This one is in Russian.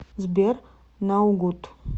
сбер наугуд